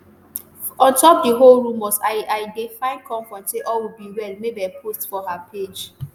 ontop di whole rumors i i dey find comfort say all will be well mabel post for her page